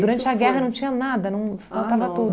a guerra não tinha nada, não faltava tudo.